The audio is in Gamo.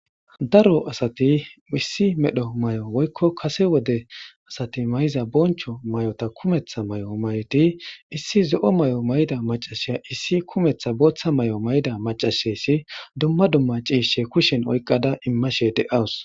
daro asati issi medho mayo woykko kase wode asati mayiza boncho mayota kumeththa mayo mayd i issi zo'o mayo mayida macashiya issi kumetha booththa mayo mayida macasheyssi dumma dumma ciishshe kushen oyqada immashe de7awus